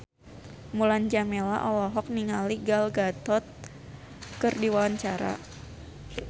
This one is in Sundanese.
Mulan Jameela olohok ningali Gal Gadot keur diwawancara